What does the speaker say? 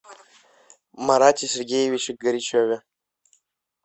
марате сергеевиче горячеве